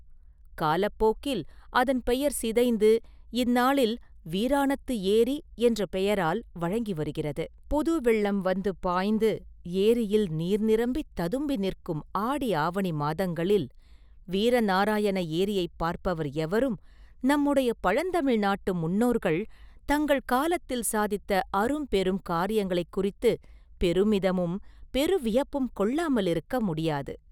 காலப்போக்கில் அதன் பெயர் சிதைந்து இந்நாளில் ‘வீராணத்து ஏரி’ என்ற பெயரால் வழங்கி வருகிறது.புது வெள்ளம் வந்து பாய்ந்து ஏரியில் நீர் நிரம்பித் ததும்பி நிற்கும் ஆடி ஆவணி மாதங்களில் வீரநாராயண ஏரியைப் பார்ப்பவர் எவரும் நம்முடைய பழந்தமிழ் நாட்டு முன்னோர்கள் தங்கள் காலத்தில் சாதித்த அரும்பெரும் காரியங்களைக் குறித்துப் பெருமிதமும் பெரு வியப்பும் கொள்ளாமலிருக்க முடியாது.